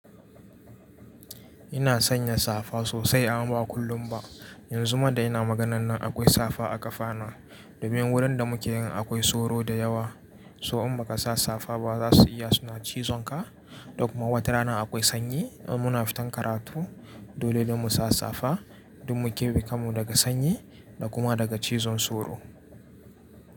Ina sanya safa sosai amma ba kullum ba. Yanzu ma da ina maganan nan akwai safa a kafana. Domin wurin da muke in akwai soro da yawa. So in ba ka sa safa ba za su iya suna cizon ka. Da kuma watarana akwai sanyi. Muna fitan karatu dole ne mu sa safa domin mu keɓe kanmu daga sanyi da kuma daga cizon soro.